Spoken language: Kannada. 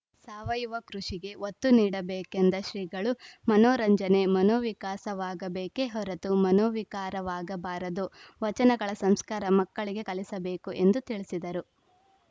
ಸಾವಯುವ ಕೃಷಿಗೆ ಒತ್ತು ನೀಡಬೇಕೆಂದ ಶ್ರೀಗಳು ಮನೋರಂಜನೆ ಮನೋವಿಕಾಸವಾಗಬೇಕೇ ಹೊರತು ಮನೋವಿಕಾರವಾಗಬಾರದು ವಚನಗಳ ಸಂಸ್ಕಾರ ಮಕ್ಕಳಿಗೆ ಕಲಿಸಬೇಕು ಎಂದು ತಿಳಿಸಿದರು